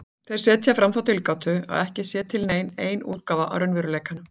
Þeir setja fram þá tilgátu að ekki sé til nein ein útgáfa af raunveruleikanum.